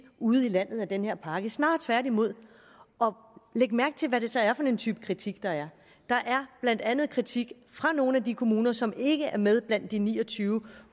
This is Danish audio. ude i landet af den her pakke snarere tværtimod læg mærke til hvad det så er for en type kritik der er der er blandt andet kritik fra nogle af de kommuner som ikke er med blandt de ni og tyve